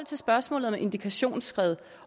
til spørgsmålet om et indikationsskred